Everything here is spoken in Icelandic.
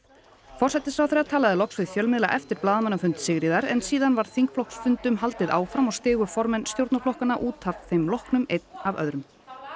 forsætisráðherra talaði loks við fjölmiðla eftir blaðamannafund Sigríðar en síðan var þingflokksfundum haldið áfram og stigu formenn stjórnarflokkanna út að þeim loknum einn af öðrum